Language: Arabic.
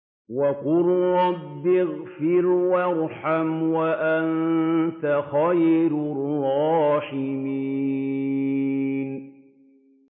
وَقُل رَّبِّ اغْفِرْ وَارْحَمْ وَأَنتَ خَيْرُ الرَّاحِمِينَ